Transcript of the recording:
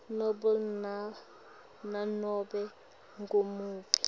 nobe nanobe ngumuphi